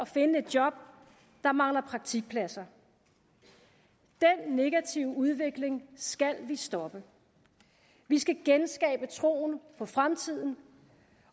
finde et job der mangler praktikpladser den negative udvikling skal vi stoppe vi skal genskabe troen på fremtiden